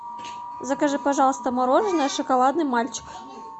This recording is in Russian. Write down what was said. закажи пожалуйста мороженое шоколадный мальчик